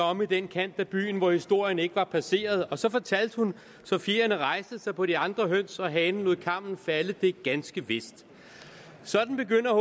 omme i den kant af byen hvor historien ikke var passeret og så fortalte hun så at fjerene rejste sig på de andre høns og hanen lod kammen falde det er ganske vist sådan begynder